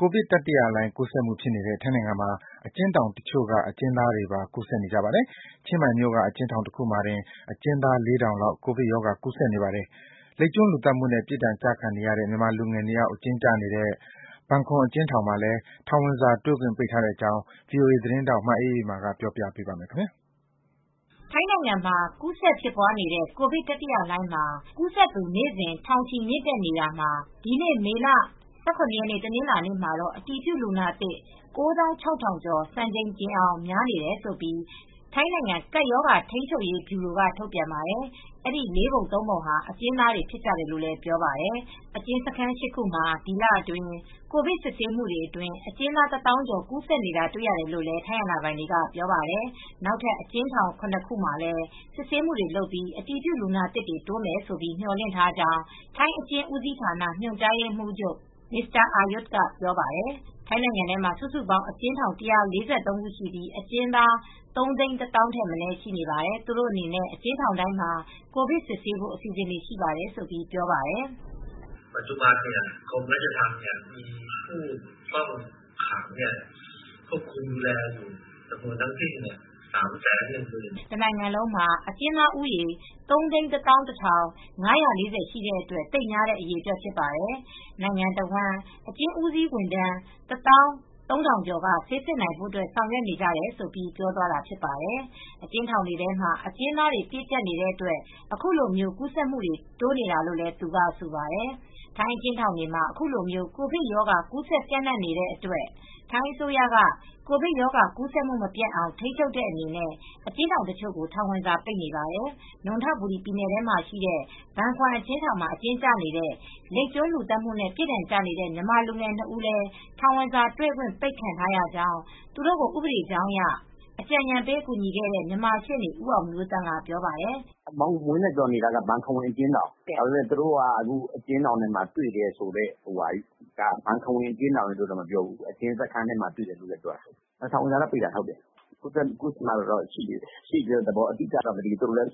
ကိုဗစ်တတိယလှိုှုင်း ကူးစက်မှုဖြစ်နေတဲ့ ထိုင်းနိုင်ငံမှာ အကျဉ်းထောင်တချို့က အကျဉ်းသားတွေမှာပါ ကူးစက်နေကြပါတယ်။ ချင်းမိုင်မြို့က အကျဉ်းထောင်တခုမှာတင် အကျဉ်းသား ၄,၀၀၀ လောက် ကိုဗစ်ရောဂါကူးစက်နေပါတယ်။ လိပ်ကျွန်းလူသတ်မှုနဲ့ ပြစ်ဒဏ်ကျခံနေရတဲ့ မြန်မာလူငယ် ၂ ယောက် အကျဉ်းကျနေတဲ့ ဘန်ခွမ်အကျဉ်းထောင်မှာလည်း ထောင်ဝင်စာ တွေ့ခွင့်ပိတ်ထားတဲ့အကြောင်း ဗွီအိုအေသတင်းထောက် မအေးအေးမာက တင်ပြပေးပါမယ်။ ထိုင်းနိုင်ငံမှာ ကူးစက်ဖြစ်ပွားနေတဲ့ ကိုဗစ်တတိယလှိုင်းမှာ ကူးစက်သူ နေ့စဉ် ထောင်ချီ မြင့်တက်နေတာမှာ ဒီနေ့ မေလ ၁၇ ရက် တနင်္လာနေ့မှာ အတည်ပြုလူနာသစ် ၉၆,၀၀၀ ကျော် စံချိန်တင်အောင် များနေတယ်လို့ ထိုင်းနိုင်ငံကပ်ရောဂါ ထိန်းချုပ်ရေးဗျူရိုက ထုတ်ပြန်ပါတယ်။ အဲဒီ ၄ ပုံ ၃ ပုံဟာ အကျဉ်းသားတွေ ဖြစ်ကြတယ်လို့ပြောပါတယ်။ အကျဉ်းစခန်း ၈ ခုမှာ ဒီလအတွင်း ကိုဗစ် စစ်ဆေးမှုအတွင်း အကျဉ်းသား ၁၀,၀၀၀ ကျော် ကူးစက်နေတာတွေ့ရတယ်လို့ ထိုင်းအာဏာပိုင်တွေက ပြောပါတယ်။ နောက်ထပ် အကျဉ်းထောင် ၇ ခုမှာ လည်း စစ်ဆေးမှုတွေလုပ်နေပြီး အတည်ပြုလူနာသစ်တိုးမယ်လို့ မေ ျှာ်လင့်ထားကြောင်း ထိုင်းအကျဉ်းဦးစီးဌာန ညွှန်ကြားရေးမှူးချုပ် Aryut Sinthoppan ကပြောပါတယ်။ ထိုင်းနိုင်ငံထဲမှာ စုစုပေါင်း အကျဉ်းထောင် ၁၄၃ ခု ရှိပြီး အကျဉ်းသား ၃၁၀,၀၀၀ ထက်မနည်းရှိပါတယ်။ သူတို့အနေနဲ့ အကျဉ်းထောင်တိုင်းမှာ ကိုဗစ်စစ်ဆေးဖို့ အစီအစဉ်ရှိပါတယ်လို့ပြောပါတယ်။ "တနိုင်ငံလုံးမှာ အကျဉ်းသားဦးရေ ၃၁၁,၅၄၀ ရှိတဲ့အတွက် သိပ်များတဲ့ အရေအတွက်ဖြစ်တယ်။ နိုင်ငံတဝန်း အကျဉ်းဦးစီးဝန်ထမ်း ၁၃,၀၀၀ ကျော်က ဆေးစစ်နိုင်ဖို့ ဆောင်ရွက်နေကြတယ်။" လို့ ပြောသွားတာဖြစ်ပါတယ်။ အကျဉ်းထောင်တွေထဲမှာ အကျဉ်းသားတွေ ပြည့်ကြပ်နေတဲ့အတွက် ခုလို ကူးစက်မှု တိုးနေတာလို့လည်း သူကဆိုပါတယ်။ ထိုင်းအကျဉ်းထောင်တွေမှာ ခုလို ကိုဗစ်ရောဂါ ကူးစက်ပျံ့နှံ့နေတဲ့အတွက် ထိုင်းအစိုးရက ကိုဗစ်ရောဂါကူးစက်မှု မပျံ့အောင် ထိန်းချုပ်တဲ့အနေနဲ့ အကျဉ်းထောင်တချို့ကို ထောင်ဝင်စာပိတ်နေပါတယ်။ နွံထဘူရီပြည်နယ်ထဲမှာ ရှိတဲ့ ဘန်ခွမ်အကျဉ်းထောင်မှာ အကျဉ်းကျနေတဲ့ လိပ်ကျွန်းလူသတ်မှုနဲ့ ပြစ်ဒဏ်ကျနေတဲ့ မြန်မာလူငယ် ၂ ဦးလည်း ထောင်ဝင်စာတွေ့ခွင့်ပိတ်ခံထားရကြောင်း သူတို့ကို ဥပဒေကြောင်းအရ အကြံဉာဏ်ပေးကူညီခဲ့တဲ့ မြန်မာရှေနေ့ ဦးအောင်မျိုးသန့်က အခုလိုပြောပါတယ်။ "ဝင်းနဲ့ ဇော်နေတာက ဘန်ခွမ်အကျဉ်းထောင်။ ဒါပေမဲ့ သူတို့က အကျဉ်းထောင်ထဲမှာ တွေ့တယ်ဆိုတာပြောတယ်။ ဘန်ခွမ်အကျဉ်းထောင်ရယ်လို့တော့ မပြောဘူး။ အကျဉ်းစခန်းတွေမှာ တွေ့တယ်ပြောတယ်။ ထောင်ဝင်စာပိတ်တာတော့ ဟုတ်တယ်။ ဘန်ခွမ်အကျဉ်းထောင်မှာ ရှိတယ်လို့တော့ မပြောဘူး။ သတ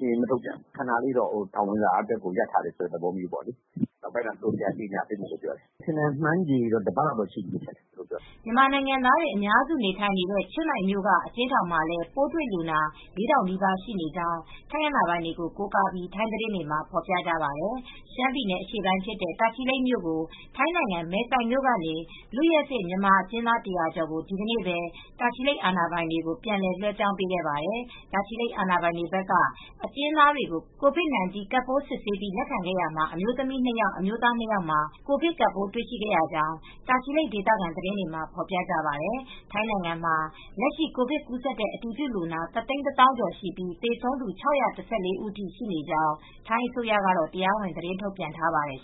င်းမထုတ်ပြန်ဘူး။ ခဏလေး ထောင်ဝင်စာရပ်တာတော့ဟုတ်တယ်။ နောက်ပိုင်းမှာ ပြန်ကြေငြာပေးမယ်ပြောတယ်။ ခန့်မှန်းခြေကတော့ တပတ်လောက်ရှိပြီ။" မြန်မာနိုင်ငံသားတွေ အများစု နေ ထိုင်နေတဲ့ ချင်းမိုင်မြို့က အကျဉ်းထောင်မှာလည်း ပိုးတွေ့လူနာ ၄,၀၀၀ နီးပါး ရှိနေကြောင်း ထိုင်းအာဏာပိုင်တွေကို ကိုးကားပြီး ထိုင်းသတင်းတွေမှာ ဖော်ပြပါတယ်။ ရှမ်းပြည်နယ် ဖြစ်တဲ့ တာချီလိတ်မြို့ကို ထိုင်းနိုင်ငံမယ်ဆိုင်မြို့ကနေ လွတ်ရက်စေ့မြန်မာအကျဉ်းသား ၁၀၀ ကျော်ကို ဒီနေ့ပဲ တာချီလိတ် အာဏာပိုင်တွေကို ပြန်လည် လွဲှပြောင်းပေးခဲ့ပါတယ်။ တာချီလိတ်အာဏာပိုင်တွေဘက်က အကျဉ်းသားတွေကို COVID 19 ကပ်ပိုး စစ်ဆေးပြီး လက်ခံခဲ့ရာမှာ အမျိုးသမီး ၂ ယောက်၊ အမျိုးသား ၂ ယောက်မှာ ကိုဗစ်ကပ်ပိုး တွေ့ရှိခဲ့ရကြောင်း တာချီလိတ် ဒေသခံသတင်းတွေမှာ ဖော်ပြကြပါတယ်။ ထိုင်းနိုင်ငံမှာ လက်ရှိ ကိုဗစ်ကပ်ပိုး ကူးစက်တဲ့ အတည်ပြုလူနာ ၁၁၀,၀၀၀ ကျော် ရှိနေပြီး သေဆုံးသူ ၆၁၄ ဦးထိ ရှိနေကြောင်း ထိုင်းအစိုးရကတော့ တရားဝင်သတင်းထုတ်ပြန်ထားပါတယ်